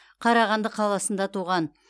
қарағанды қаласында туған